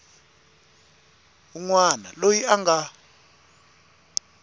wun wana loyi a nga